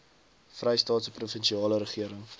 vrystaatse provinsiale regering